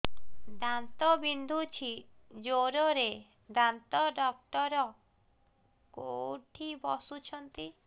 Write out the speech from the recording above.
ଦାନ୍ତ ବିନ୍ଧୁଛି ଜୋରରେ ଦାନ୍ତ ଡକ୍ଟର କୋଉଠି ବସୁଛନ୍ତି